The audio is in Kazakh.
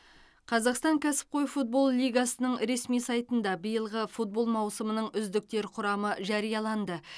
қазақстан кәсіпқой футбол лигасының ресми сайтында биылғы футбол маусымының үздіктер құрамы жарияланды